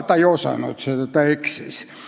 Ta ei osanud seda, ta eksis.